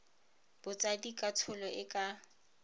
botsadi ka tsholo e ka